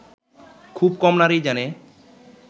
খুব কম নারীই জানে